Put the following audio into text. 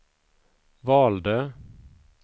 valde